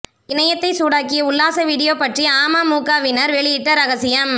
இணையத்தை சூடாக்கிய உல்லாச வீடியோ பற்றி அமமுகவினர் வெளியிட்ட ரகசியம்